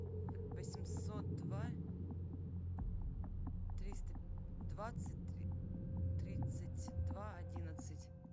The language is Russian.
восемьсот два триста двадцать три тридцать два одиннадцать